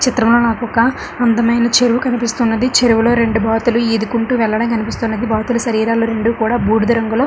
చిత్రం లో నాకొక అందమైన చెరువు కనిపిస్తూ ఉన్నది చెరువులో రెండు బాతులు ఈదుకుంటూ వెళ్లడం కనిపిస్తున్నది. బాతుల శరీరాలు రెండు కూడా బూడిద రంగులో --